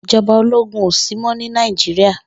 Ijòbá ólógún ósímò ni Nàijirá